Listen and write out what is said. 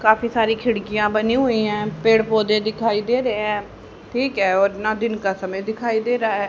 काफी सारी खिड़कियां बनी हुई है पेड़ पौधे दिखाई दे रहे हैं ठीक है और न दिन का समय दिखाई दे रहा है।